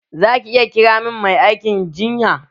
Za ki iya kira min mai aikin jinya?